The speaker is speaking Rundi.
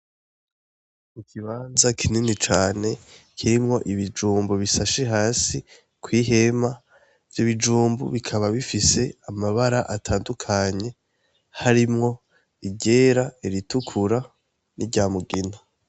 Ikibanza kinini cane kirimwo ibijumbu bisashe hasi kwihema. Ivyo bijumbu bikaba bifise amabara atandukanye harimwo iryera, iritukura n'iryamugina."